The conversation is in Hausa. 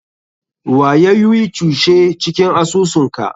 Wa yayui cuse cikin asusun ka?